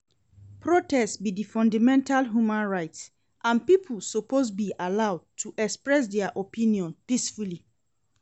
Protest be di fundamental human right and people suppose be allowed to express dia opinions peacefully.